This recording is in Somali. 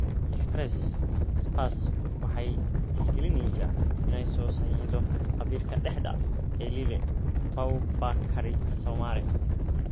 (Express) Spurs waxay tixgelinaysaa inay soo saxiixato khabiirka dhexda ee Lille, Boubakary Soumare.